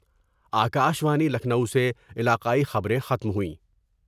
آ کا شوانی لکھنو سے علاقائی خبریں ختم ہوئیں